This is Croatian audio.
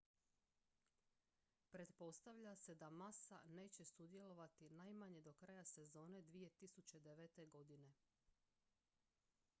pretpostavlja se da massa neće sudjelovati najmanje do kraja sezone 2009. godine